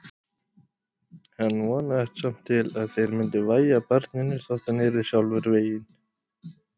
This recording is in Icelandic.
Hann vonaðist samt til að þeir myndu vægja barninu þótt hann yrði sjálfur veginn.